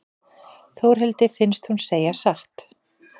Þórhildi finnst hún segja satt.